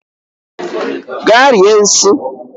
Gaa rie nshi!